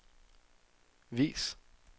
vis